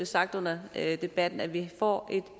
sagt under debatten at vi får et